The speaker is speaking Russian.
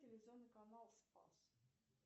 телевизионный канал спас